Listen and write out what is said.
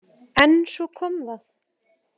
En svo kom það.